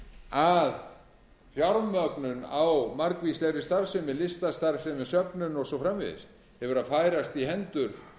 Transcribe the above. að fjármögnun á margvíslegri starfsemi listastarfsemi söfnum og svo framvegis hefur verið að færast í hendur